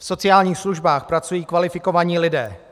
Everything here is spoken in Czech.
V sociálních službách pracují kvalifikovaní lidé.